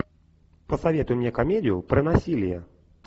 посоветуй мне комедию про насилие